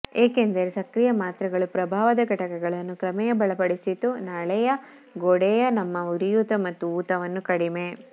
ಏಕೆಂದರೆ ಸಕ್ರಿಯ ಮಾತ್ರೆಗಳು ಪ್ರಭಾವದ ಘಟಕಗಳನ್ನು ಕ್ರಮೇಣ ಬಲಪಡಿಸಿತು ನಾಳೀಯ ಗೋಡೆಗಳ ತಮ್ಮ ಉರಿಯೂತ ಮತ್ತು ಊತವನ್ನು ಕಡಿಮೆ